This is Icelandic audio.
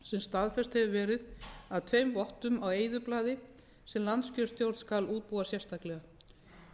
sem staðfest hefur verið af tveimur vottum á eyðublaði sem landskjörstjórn skal útbúa sérstaklega